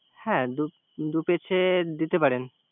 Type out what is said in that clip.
হ্যা দুেই কেছে দিতে পারেন